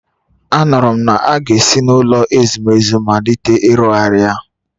Anụrụ m na a ga-esi n’ụlọ ezumezu malite ịrụzigharị ya